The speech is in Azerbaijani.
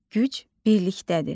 Güc birlikdədir.